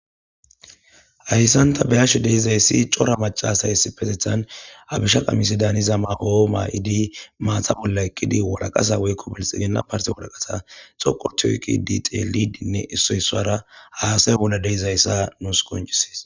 hayssan ta be:ashe deizayssi cora macasay issipesethan habisha qamisi daaniza mao'o maa'idi maata bolla eqqidi walaqasa woykko belxigena parti walaqasa xoqo histi xelidinne issoyssara haasay bolla deizayssa nuus qoncisis